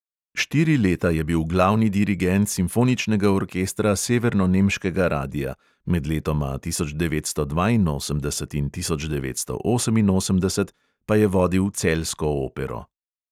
Štiri leta je bil glavni dirigent simfoničnega orkestra severnonemškega radia, med letoma tisoč devetsto dvainosemdeset in tisoč devetsto oseminosemdeset pa je vodil celjsko opero.